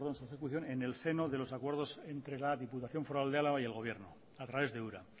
su ejecución en el seno de los acuerdos entre la diputación foral de álava y el gobierno a través de ura